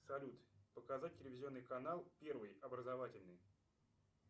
салют показать телевизионный канал первый образовательный